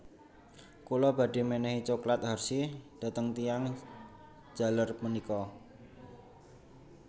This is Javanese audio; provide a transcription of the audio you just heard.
Kula badhe menehi cokelat Hershey dhateng tiyang jaler menika